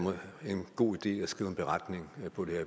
en god idé at skrive en beretning på det